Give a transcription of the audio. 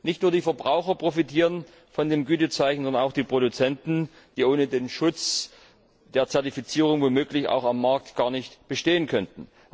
Nicht nur die Verbraucher profitieren von dem Gütezeichen, sondern auch die Produzenten, die ohne den Schutz der Zertifizierung womöglich am Markt gar nicht bestehen könnten.